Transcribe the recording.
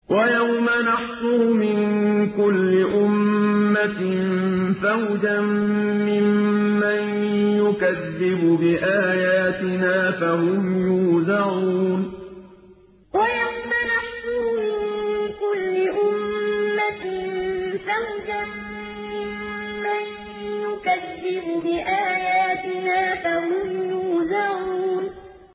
وَيَوْمَ نَحْشُرُ مِن كُلِّ أُمَّةٍ فَوْجًا مِّمَّن يُكَذِّبُ بِآيَاتِنَا فَهُمْ يُوزَعُونَ وَيَوْمَ نَحْشُرُ مِن كُلِّ أُمَّةٍ فَوْجًا مِّمَّن يُكَذِّبُ بِآيَاتِنَا فَهُمْ يُوزَعُونَ